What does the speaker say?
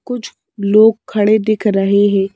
कुछ लोग खड़े दिख रहे हैं।